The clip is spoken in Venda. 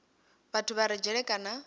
vhathu vha re dzhele kana